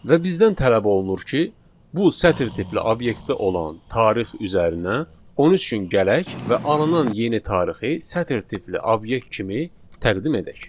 Və bizdən tələb olunur ki, bu sətr tipli obyektdə olan tarix üzərinə 13 gün gələk və alınan yeni tarixi sətr tipli obyekt kimi təqdim edək.